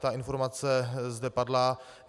Ta informace zde padla.